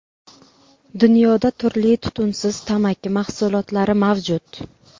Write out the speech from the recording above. Dunyoda turli tutunsiz tamaki mahsulotlari mavjud.